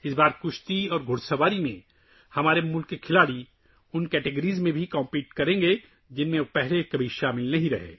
اس بار ہماری ٹیم کے کھلاڑی ریسلنگ اور گھڑ سواری کے ان زمروں میں بھی حصہ لیں گے جن میں انہوں نے پہلے کبھی حصہ نہیں لیا